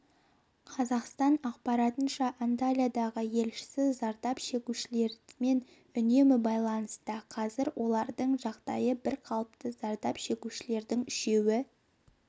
қазақстан ақпарынша анталиядағы елшісі зардап шегушілермен үнемі байланыста қазір оларың жағдайы бір қалыпты зардап шегушілердің үшеуі